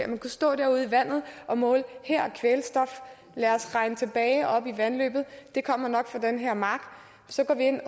at man kan stå derude i vandet og måle her er kvælstof lad os regne tilbage og op i vandløbet det kommer nok fra den her mark så går vi ind